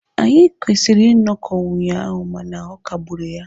Anyị kwesịrị ịnọkọ ụnyaahụ mana ọ kagburu ya.